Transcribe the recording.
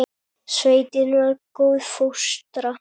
Sveitin var góð fóstra.